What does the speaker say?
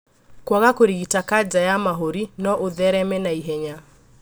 Kwaga kũrigita kanja ya mahũri no ũthereme na ihenya